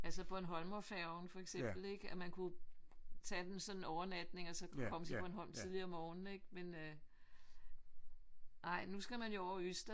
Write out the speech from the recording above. Altså Bornholmerfærgen for eksempel ik? At man kunne tage den sådan en overnatning og så kunne komme til Bornholm tidligere om morgenen men nej nu skal man jo over Ystad